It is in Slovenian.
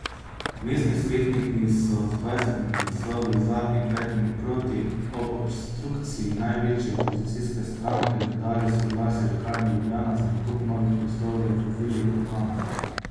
Mestni svetniki so z dvajsetimi glasovi za in petimi proti ob obstrukciji največje opozicijske stranke dali soglasje Lekarni Ljubljana za nakup novih prostorov v Vili Urbana.